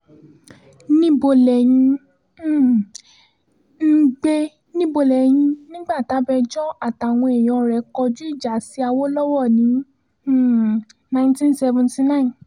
níbo lẹ́yìn um ń gbé níbo lẹ́yìn nígbà tabẹjọ́ àtàwọn èèyàn rẹ̀ kọjú ìjà sí awolowo ní um nineteen seventy nine